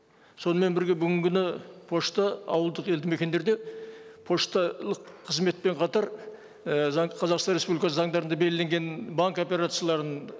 сонымен бірге бүгінгі күні пошта ауылдық елді мекендерде пошталық қызметпен қатар і қазақстан республикасы заңдарында белгіленген банк операцияларын